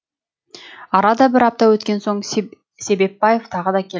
арада бір апта өткен соң себепбаев тағы келді